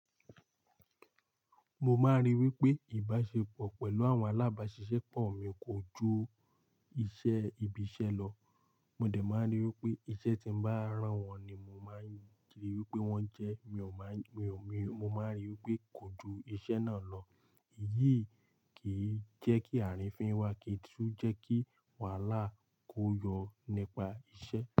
Mo maa n ri wipe, ibasepo pelu awon alaba sise po, ko ju ise ibi ise lo. Mo de máa n rí wípé iṣẹ́ tí mo bá rán wọn ni mo máa ń rí i wípé wọ́n jẹ́ mi ò máa n mi mo máa rí i wípé kò ju iṣẹ́ náà lọ. Èyíi kì n jẹ́kí àrífín wá kì tún jẹ́kí wàhálà kó yọ nípa iṣẹ́